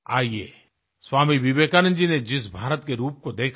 आइये स्वामी विवेकानंद जी ने जिस भारत के रूप को देखा था